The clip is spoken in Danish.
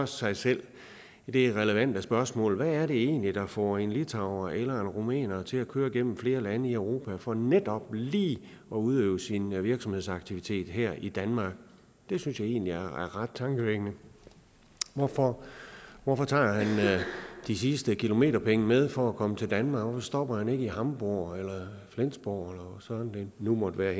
sig selv det relevante spørgsmål hvad er det egentlig der får en litauer eller en rumæner til at køre gennem flere lande i europa for netop lige at udøve sin virksomhedsaktivitet her i danmark det synes jeg egentlig er ret tankevækkende hvorfor hvorfor tager man de sidste kilometerpenge med for at komme til danmark hvorfor stopper man ikke i hamborg eller flensborg eller hvor søren det nu måtte være